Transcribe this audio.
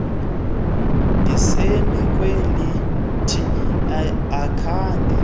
ndisemi kwelithi angekhe